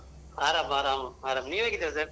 ಆರಾಮ್ ಆರಾಮು ಆರಾಮ್ ನೀವ್ ಹೇಗಿದಿರ sir ?